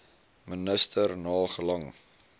minister na gelang